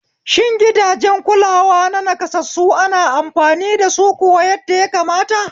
Shin gidajen kulawa na naƙasassu ana amfani dasu kuwa yadda ya kamata?